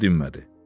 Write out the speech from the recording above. Oğlan dinmədi.